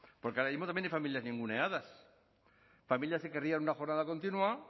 porque ahora mismo también hay familias ninguneadas familias que querrían una jornada continua